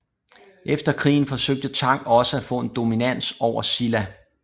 Efter krigen forsøgte Tang også at få en dominans over Silla